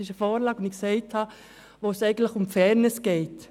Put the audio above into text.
Es ist eine Vorlage, bei welcher es um Fairness geht.